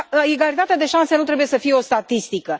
Egalitatea de șanse nu trebuie să fie o statistică.